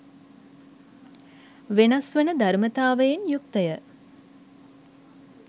වෙනස්වන ධර්මතාවයෙන් යුක්තය.